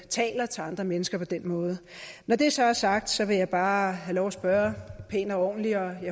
taler til andre mennesker på den måde når det så er sagt vil jeg bare have lov at spørge pænt og ordentligt jeg